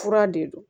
Fura de don